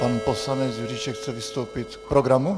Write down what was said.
Pan poslanec Juříček chce vystoupit k programu?